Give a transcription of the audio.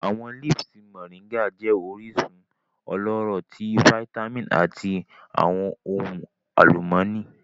Awọn leaves Moringa jẹ orisun ọlọrọ ti vitamin ati awọn ohun alumọni.